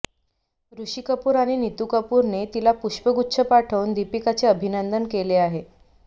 ऋषी कपूर आणि नितू कपूरने तिला पुष्पगुच्छ पाठवून दीपिकाचे अभिनंदन केले आहे